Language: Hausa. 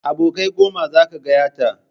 Abokai goma zaka gayyata